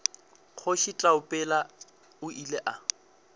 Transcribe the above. kgoši taupela o ile a